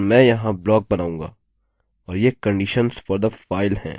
और ये conditions for the file हैं